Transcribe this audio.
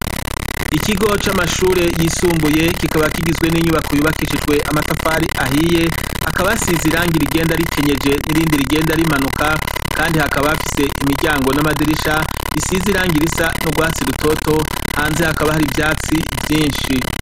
Ikigo c’amashure yisumbuye kikaba kigizwe n’inyubako yubakishijwe amatafari ahiye ,hakaba hasize irangi rigenda rikenyeje nirindi rigenda rimanuka kandi hakaba hafise imiryango n’amadirisha bisize irangi risa nugwatsi rutoto, hanze hakaba har’ivyatsi vyinshi.